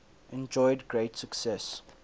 enjoyed great success